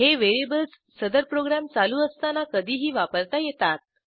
हे व्हेरिएबल्स सदर प्रोग्रॅम चालू असताना कधीही वापरता येतात